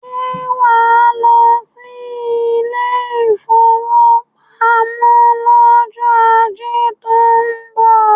Ṣé wàá lọ sí ilé ìfowópamọ́ lọ́jọ́ ajé tó ń .bọ̀?